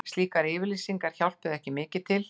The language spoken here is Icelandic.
Slíkar yfirlýsingar hjálpuðu ekki til